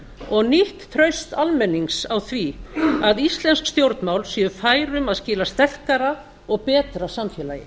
og nýtt traust almennings á því að íslensk stjórnvöld séu fær um að skila sterkara og betra samfélagi